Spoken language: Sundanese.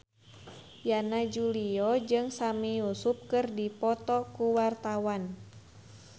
Yana Julio jeung Sami Yusuf keur dipoto ku wartawan